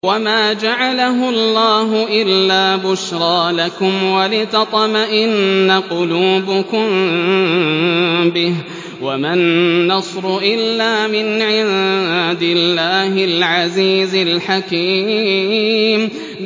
وَمَا جَعَلَهُ اللَّهُ إِلَّا بُشْرَىٰ لَكُمْ وَلِتَطْمَئِنَّ قُلُوبُكُم بِهِ ۗ وَمَا النَّصْرُ إِلَّا مِنْ عِندِ اللَّهِ الْعَزِيزِ الْحَكِيمِ